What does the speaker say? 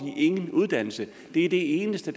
ingen uddannelse det er det eneste